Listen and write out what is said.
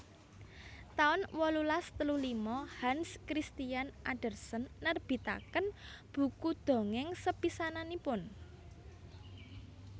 taun wolulas telu lima Hans Christian Andersen nerbitaken buku dongèng sepisananipun